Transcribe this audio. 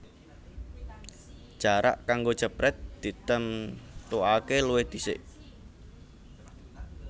Jarak kanggo jeprèt ditemtuaké luwih dhisik